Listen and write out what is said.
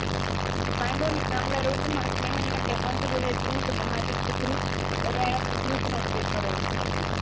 પાંડુ અને કમલા રોગમાં સ્નેહ માટે સંત મહાપરીત પરુંત ઉપયોગ કરેલો છે